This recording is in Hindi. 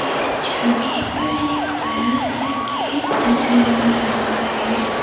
इस छवि पर एक बड़ा सा एक गेट नजर आ रहा है ।